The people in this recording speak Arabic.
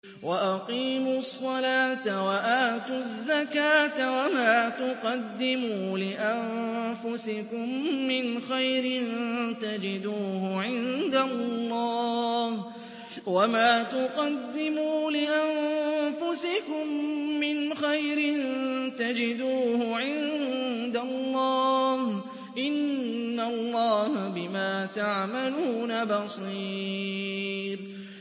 وَأَقِيمُوا الصَّلَاةَ وَآتُوا الزَّكَاةَ ۚ وَمَا تُقَدِّمُوا لِأَنفُسِكُم مِّنْ خَيْرٍ تَجِدُوهُ عِندَ اللَّهِ ۗ إِنَّ اللَّهَ بِمَا تَعْمَلُونَ بَصِيرٌ